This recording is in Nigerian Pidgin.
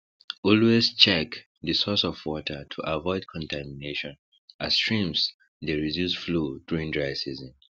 always check the source of water to avoid contamination as streams dey reduce flow during dry season